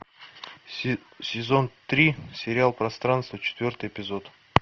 сезон три сериал пространство четвертый эпизод